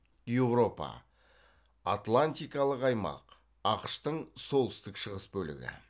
еуропа атлантикалық аймақ ақш тың солтүстік шығыс бөлігі